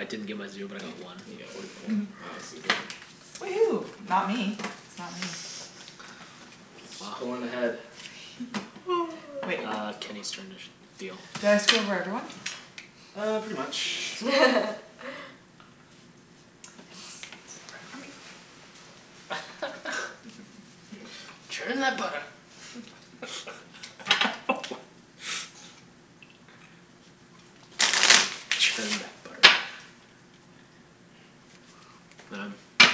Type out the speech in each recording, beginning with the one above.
I didn't get my zero but I got one. You get one Fourty four. point. Wow Susie. Woohoo, not me. It's not me. She's pullin' ahead. Uh Kenny's turn to sh- Did deal. I screw over everyone? Uh, pretty much. Churn that butter. Churn that butter. Man, it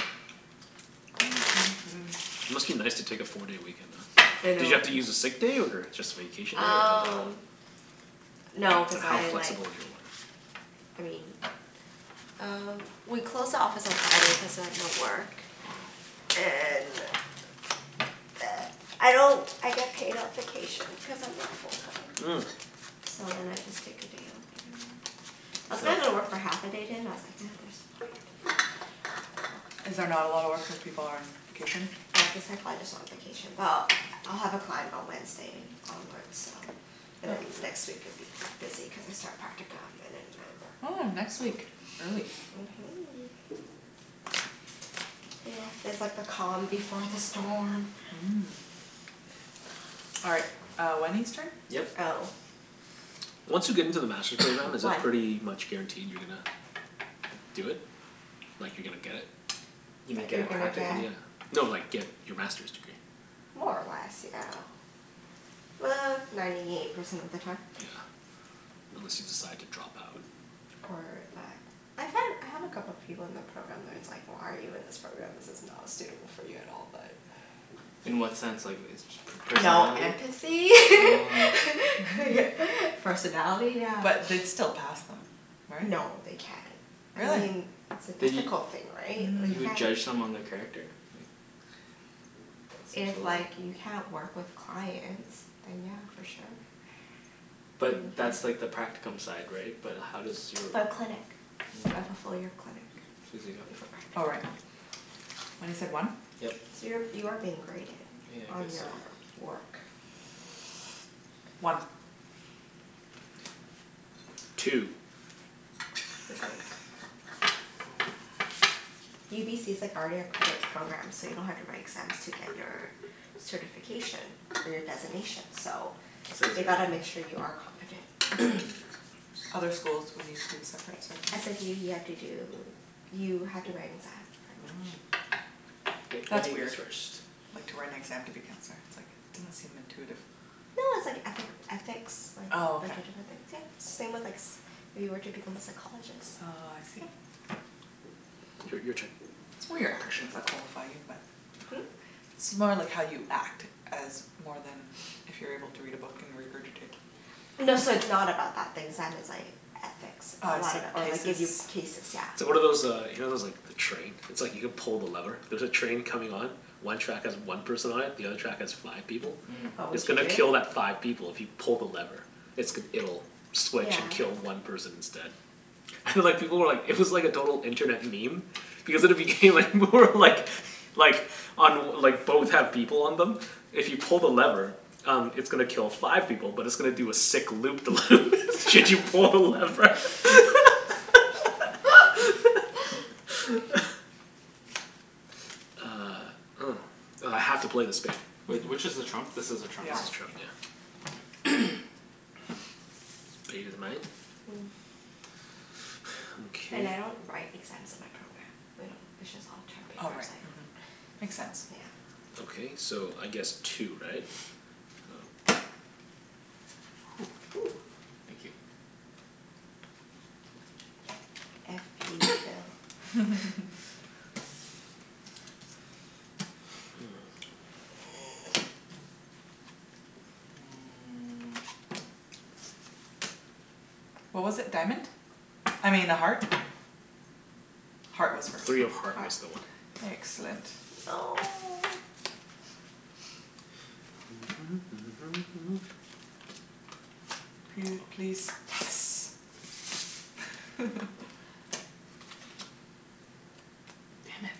must be nice to take a four day weekend off. I Did know you have to use a sick day or just vacation day or Um, no cuz I like, I mean uh we close the office at seven cuz I was at work and I don't I get paid at vacation cuz I'm not full time. Mm. So then I just take a day off whatever. I was gonna go to work for half a day today but I was like nah, there's no point. Is there not a lot of work when people are on vacation? They have the psychologist on vacation. Well, I'll have a client on Wednesday onward so and then next week it would be busy cuz I start practicum and then I Oh, work. next week. Early. Mhm. Yeah, this is like the calm before the storm. Mm. All right, uh Wenny's turn? Yep. Oh. Once you get into the Master's program, is it One pretty much guaranteed you're gonna do it? Like you're gonna get it? You mean get You're a gonna get practicum? Yeah, no like, get your Masters degree. More or less, yeah. Uh, ninety eight percent of the time. Yeah, unless you decide to drop out. Or that, I find, I have a couple of people in the program where it's like, why are you in this program this is not suitable for you at all but In what sense like, is per- No personality? empathy Oh. Personality yeah. But they'd still pass them right? No, they can't. I Really? mean, it's an But you, ethical thing, right, like you you would can't. judge someone their character? Like If like, you can't work with clients then yeah, for sure But that's like the practicum side, right? But how does your For clinic. Mm. Right, fullfil your clinic before Susie, go. Oh right. practicum What is it, one? So you're, Yep. you are being graded Yeah I On your guess so work One Two Cuz like UBC's like already accredited program so you don't have to write exams to get your certification for your designation so I'd say They zero gotta make sure you are competent Other schools would need to, separate certificate? SFU you have to do, you have to write an exam pretty Mm much. K, That's lemme guess weird, first like to write an exam to be counselor, it's like doesn't seem intuitive. No, it's like ethic, ethics like, a bunch of different things. Yeah, it's same with like, if you were to become a psychologist. Oh I see Yep. Your your turn It's more your actions that qualify you but Hm? It's more like how you act as more than if you're able to read a book and regurgitate. No, so it's not about that, the exam is like Oh I ethics see, Or like, cases give you cases, yeah. So what are those uh you know those like the train? It's like you can pull the lever, there's a train coming on, one track has one person on it, the other track has five people. What It's would you gonna Mm do? kill that five people if you pull the lever. It's g- it'll switch Yeah. and kill one person instead. And like people were like it was like a total internet meme because at the beginning like, more like, like on like both have people on them, if you pull the lever, um it's gonna kill five people but it's gonna do a sick loop the loop should you pull the lever. Uh, oh. I have to play the spade. Wait, which is the trump? This is the That's the trump trump Mm, and I don't write exams in my program. We don't, it's just all term paper. It's like So Makes sense yeah. Ok so, I guess two, right? Woo! Thank you. Iffy Phil What was it, diamond? I mean, a heart? Heart was first. Three of heart was Heart the one. Excellent No! P- please, Yes! Damn it.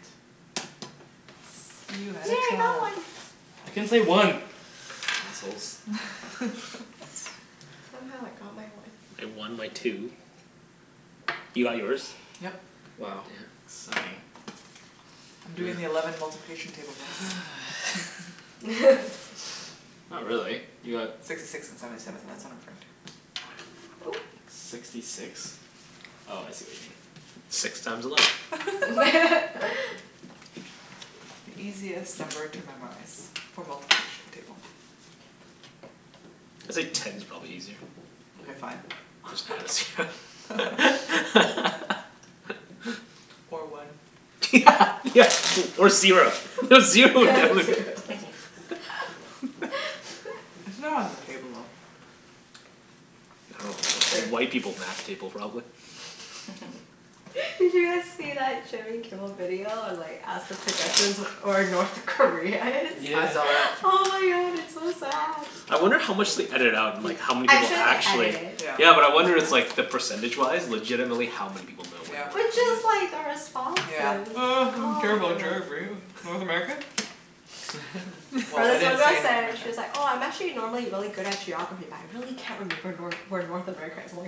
You Yes, had yay a I got trump. one! I can't say one! Assholes Somehow I got my one. I won my two. You got yours? Yep. Wow, sucking. I'm doing the eleven multiplication table guys Not really. You got Sixty six and seventy seven, that's Oop! Sixty six? Oh I see what you mean. Six times eleven. The easiest number to memorize for multiplication table It's like ten's probably easier. Mkay fine. Just add a zero. Or one. Yeah yeah, or or zero. Zero would It's not on the table, though. Well, white people's math table probably. Did you guys see that Jimmy Kimmel video on like ask the pedestrians where or North Korea is? Yeah. I saw that Oh my god, it's so sad. I wonder how much they ediited out and like how many I'm people sure they edit it. actually Yeah, but I wonder it's like, the percentage wise legitimately how many people know where But North just Korea like the is? responses. Oh I don't Oh care my about god geography, North America? Or this one girl said she's like, "Oh I'm actually normally really good at geography but I really can't remember Nor- where North America is or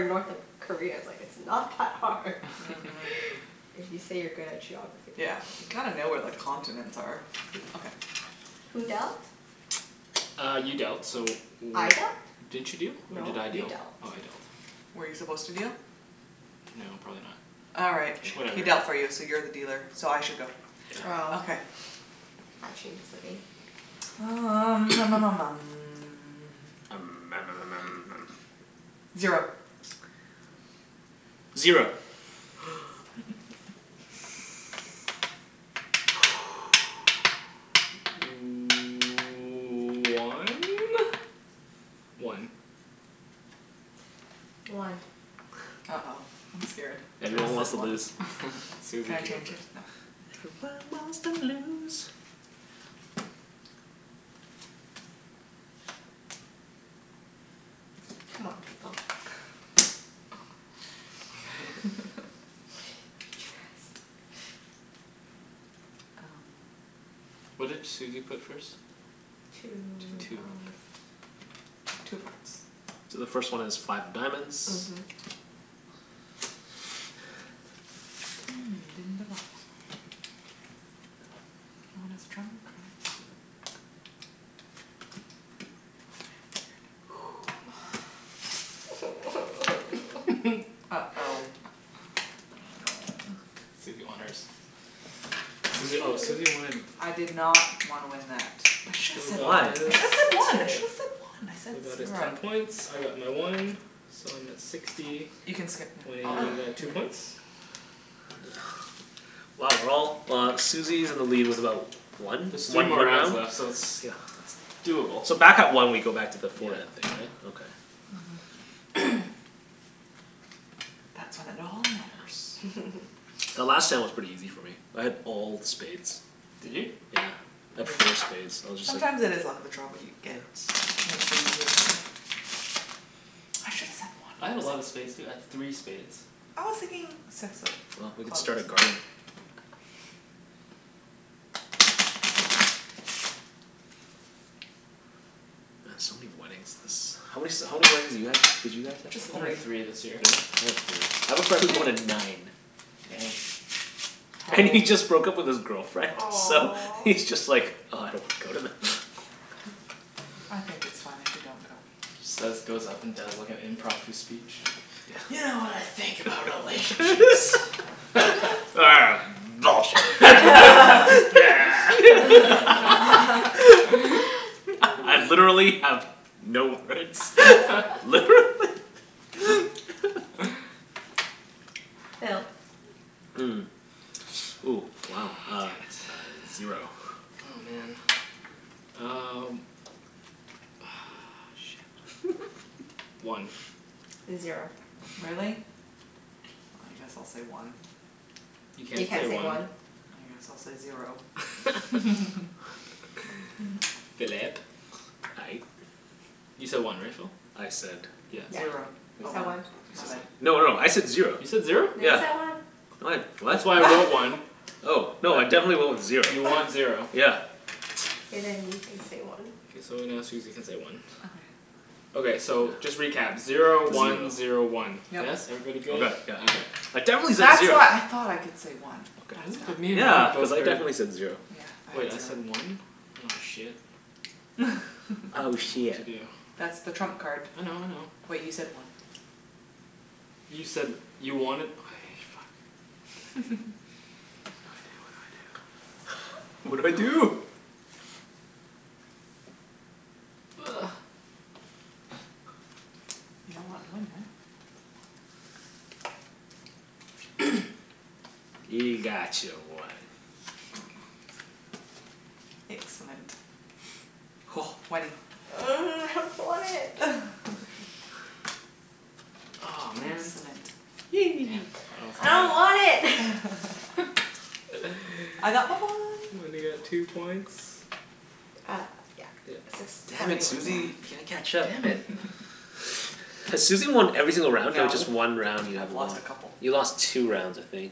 it's, North Korea is." Like it's not that hard If you say you're good at geography Yeah. You gotta know where the continents are. Okay. Who dealt? Uh, you dealt so I dealt? w- Didn't you deal? Or did No, I you deal dealt Oh I dealt. Were you supposed to deal? No probably not. Alright He Whatever dealt for you so you're the dealer, so I should go. Oh Okay. That changes the game. Um Zero Zero One? One One Uh oh, I'm scared. Everyone wants to lose. Susie, you go first. C'mon, people What did Susie put first? Two Two, okay. Two hearts So the first one is five of diamonds. Mhm. Uh oh Susie won hers. Susie oh Susie wanted I did not wanna win that. Should've Phil said got one, I his should've said one, I should've said one, I said- Phil got his screwed ten up points, I got my one, so I'm at sixty, Wenny got two points Wow, we're all, uh Susie's in the lead with about one, There's three one more more rounds round? left so it's Yeah Doable So back at one we go back to the forehead thing, Yeah right? Okay. The last time was pretty easy for me, I had all spades. Did you? Yeah. I had four spades so I was just Sometimes it like is the luck of the draw, what you get. I should've said I had a lot one. of spades too. I had three spades I was thinking six Well, we of can clubs. start a garden. Man, so many weddings this, how many s- how many weddings did you have, did you guys have to Only three this year I had three. I have a friend who went to nine. Damn And he just broke up with his girlfriend so Aw he's just like, ugh, I don't want to go to them. I think it's fine if you don't go. Instead he just goes up and does like a impromptu speech. You know what I think about relationships Bullshit I, I've literally have no words, literally Phil Mm, ooh wow uh Oh, damn it Zero Oh man, um, ugh shit. One Zero Really? I guess I'll say one You You can't can't say say one. one. I guess I'll say zero Phillip? Aye You said one right, Phil? I said Yep Zero. He Oh said one one He said No, one no, I said zero. You said zero? No, you Yeah. said one. No I d- what? That's why I wrote one Oh no, I definitely went with zero. You want zero. Yeah. Okay, then you can say one. K, so now Susie can say one Okay so just recap, zero one zero one. Yes? Everybody good? Right, yeah. Okay. I Ooh, definitely said that's zer- why I thought I could say one, that's Really? why. But me and Yeah. Wenny Cuz both I heard definitely said zero. Wait I said one? Oh shit. I Oh shiet. dunno what That's to do. the trump card. I know I know. Wait you said one You said you wanted, okay, fuck. What do I do. What do I do, what do I do. What do I do. Ugh You don't want to win eh? You got your one. Excellent. Wenny. Ugh, I don't want it! Aw man! Excellent I don't want it! I got my one. Wenny got two points. Uh yeah. Six, Damn seventy it, one, yeah. Susie, can't catch up. Damn it Has Susie won every single round or No just one round you have I've won. lost a couple You lost two rounds, I think.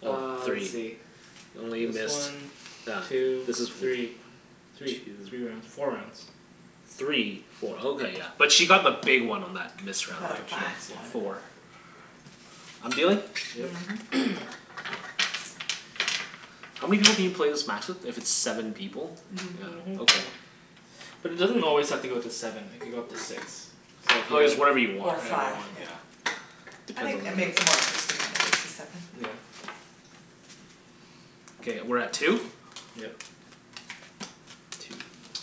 No, Uh, let's three. see. This one, two, three. Three, three rounds. Four rounds. Three, four, oh okay yeah. But she got the big one on that missed round though. Five She got points, yeah. four. I'm dealing? Yep Mhm How many people can you play this match with if it's seven people? Mhm. Yeah, okay. But it doesn't always have to go to seven. It could go up to six. Oh it's whatever you want, Or Whatever you five right? want yeah. I think that makes it more interesting Yeah Okay, we're at two? Yep.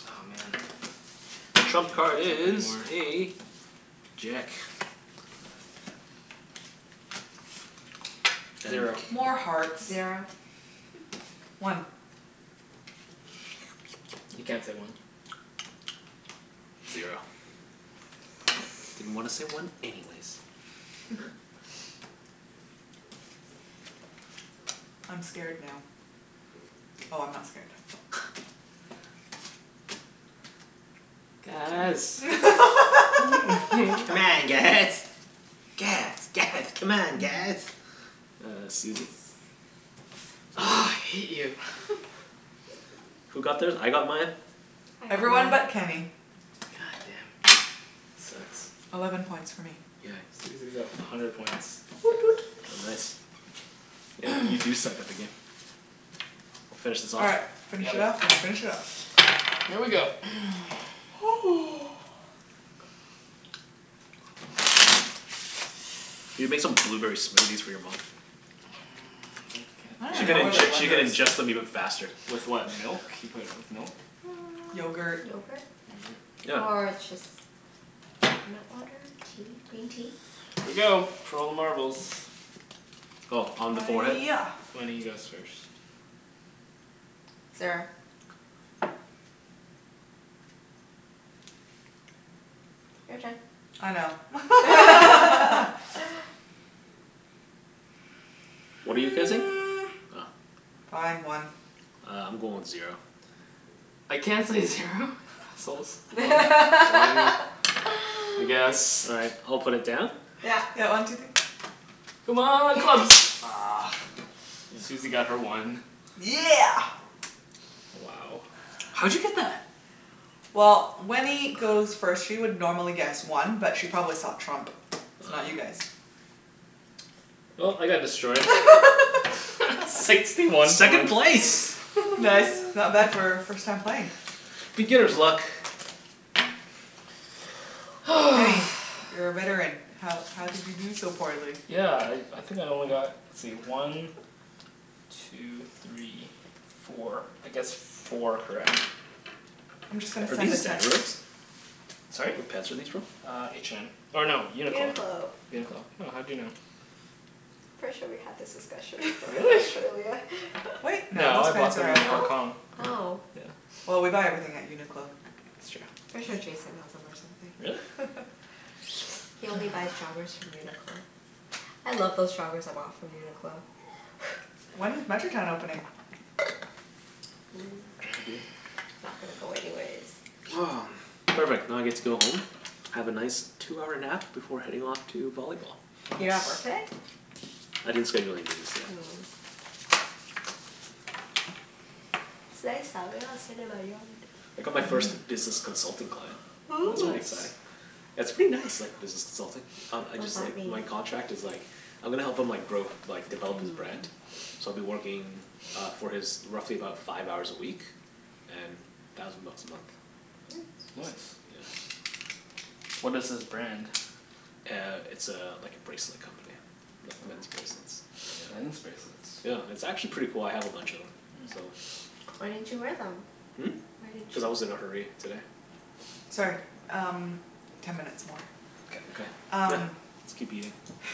Aw man, Trump can't card catch up is anymore a jack. Zero More hearts Zero One You can't say one. Zero Didn't wanna say one anyways. I'm scared now. Oh I'm not scared. Guys C'mon guys, guys, guys, c'mon, guys! Uh Susie Ugh, I hate you Who got theirs? I got mine. I got Everyone mine. but Kenny. God damn. Sucks Eleven points for me Yeah Susie's at a hundred points. Woot woot Oh nice. Yeah, you do suck at the game. Finish this All off? right, finish Yep it off and finish it off. Here we go You can make some blueberry smoothies for your mom. She can inge- she can ingest them even faster. With what, milk? You put, with milk? Yogurt Yogurt Yogurt? Yeah. Or just coconut water, tea, green tea. Here we go, for all the marbles Oh, on the forehead? Yeah Wenny goes first. Zero. Your turn I know. What are you guessing? Fine, one Uh I'm going with zero. I can't say zero? You assholes One. One? I guess. All right, I'll put it down. Yeah Yeah, one two three C'mon, clubs! Ugh, Susie got her one. Yeah! Wow How'd you get that? Well, Wenny goes first. She would normally guess one but she probably saw trump so not you guys. Well, I got destroyed. Sixty one Second one place! Nice, not bad for first time playing Beginner's luck. Kenny, you're a veteran, how how did you do so poorly? Yeah, I I think I only got, let's see, one two three four, I guessed four correct. I'm just gonna Are send these? a text. Sorry? What pants are these from? Uh H&M, or no, UNIQLO UNIQLO UNIQLO. Oh, how'd you know? Pretty sure we had this discussion before in Really? Australia. Wait No, I bought them in Hong Kong. Oh? Oh. Yeah Well, we buy everything at UNIQLO. That's true. Pretty sure Jason has'em or something Really? He only buys joggers from UNIQLO. I love those joggers I bought from UNIQLO. When is Metrotown opening? Not gonna go anyways. Perfect, now I get to go home, have a nice two-hour nap before heading off to volleyball. You don't have work Nice today? I didn't schedule anything in today. Mm It's nice out. Maybe I'll sit in my yard. I got my first business consultant client. That's Ooh. pretty exciting. Nice That's pretty nice like business consulting. Um I What does just like, that mean? my contract is like, I'm gonna help him like, grow, like develop his brand, so I'll be working uh for his, roughly about five hours a week and thousand bucks a month. Yeah. Nice. What is his brand? Uh it's a, like a bracelet company, like men's bracelets. Men's bracelets Yeah. It's actually pretty cool. I have a bunch of'em so. Why didn't you wear them? Hmm? Why didn't you Cuz I was in wear a hurry today. them? Sorry, um ten minutes more. Okay Yep, Um let's keep eating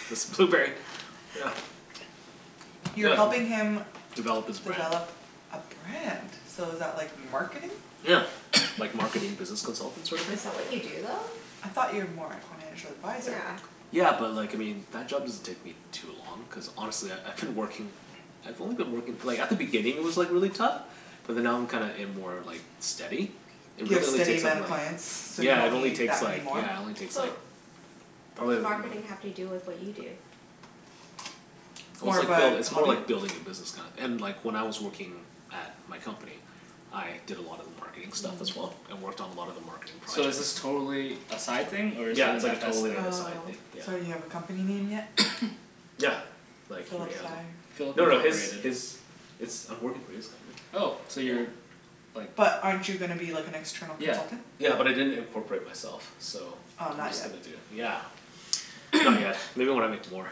this blueberry, yeah. You're helping him Develop his brand Develop a brand? So is that like marketing? Yeah, like marketing business consultant sort of thing? Is that what you do I though? thought you are more like financial advisor. Yeah. Yeah, but like, I mean that job doesn't take me too long cuz honestly I I I've been working, I've only been working like at the beginning it was like really tough, but then now I'm kinda in more like steady It You have really only steady takes up amount of like, clients? So you yeah it don't only need that takes many like, more? yeah it only takes like But what probably does marketing have to do with what you do? Well, it's like buil- it's more like building a business kinda and like when I was working at my company, I did a lot of marketing stuff as well, I worked on a lot of the marketing So is projects. this totally a side thing or is it Yeah, it's an like a FS totally, thing? like a side thing, Oh. yeah. So you have a company name yet? Yeah, like he already has it. Philip No no, his, Incorporated. his, it's, I'm working for his company. Oh, so you're like But aren't you gonna be like an external Yeah consultant? Yeah, but I didn't incorporate myself, so Oh I'm not just yet gonna do, yeah. Not yet. Maybe when I make more.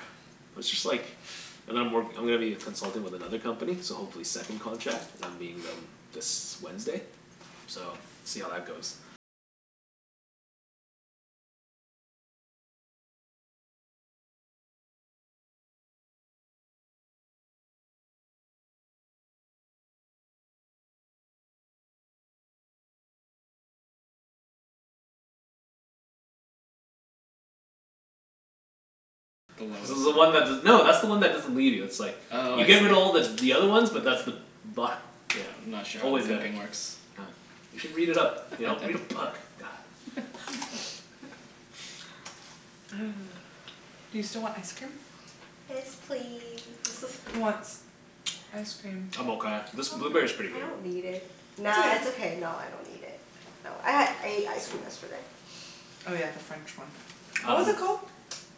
But it's just like and I'm work, I'm gonna be a consultant with another company so hopefully second contract, and I'm meeting them this Wednesday so, see how that goes. This is the one that's the, no, that's the one that doesn't leave you it's like Oh You I see. giver her to all the the other ones but that's the bottom, yeah, I'm not sure how always there. pimping works. Oh, you should read it up. You know, read a book, god. You still want ice cream? Yes, please Who wants ice cream? I'm I don't, okay. This blueberry's pretty I good. don't need it. Nah, it's It's okay. okay. No, I don't need it. No, I had, ate ice cream yesterday. Oh yeah the French one. What was it called?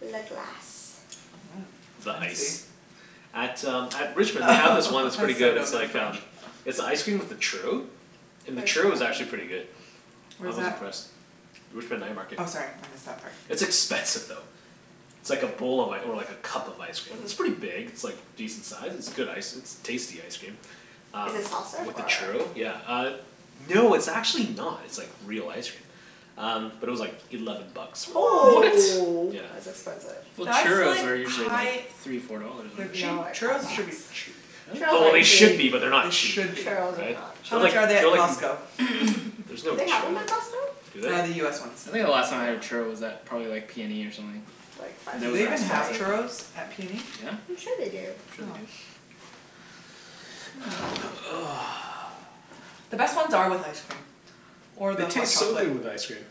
Le Glace The I ice see. At um at Richmond they have this one that's pretty good. It's like um, it's an icecream with a churro, and the churro was actually pretty good. I Where's was that? impressed. Richmond night market. Oh sorry, I missed that part. It's expensive though. It's like a bowl of like, or like a cup of ice cream, it's pretty big. It's like decent size. It's good ice, it's tasty ice cream, um Is it soft-serve with the or? churro, yeah, uh no, it's actually not. It's like real ice cream. Um, but it was like eleven bucks for What?! it. Whoa! Yeah That's expensive. Well, That's churros like are usually like high- three four dollars, They're aren't they? cheap. No they're not Churros should be cheap. that Oh well, they Really? should be but they're not They cheap. should be. Churros are not How cheap. They're like, much are they at they're like Costco? There's no Do they have'em churros at at, Costco? do Uh the US ones. they? I think the last time I had a churro was at probably like PNE or something. Do Those they were even have expensive. churros at PNE? I'm sure they do. I'm sure they do. The best ones are with ice cream or the It hot tastes so chocolate. good with ice cream.